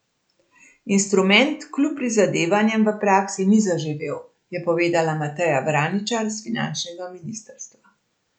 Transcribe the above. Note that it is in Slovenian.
Instrument kljub prizadevanjem v praksi ni zaživel, je povedala Mateja Vraničar s finančnega ministrstva.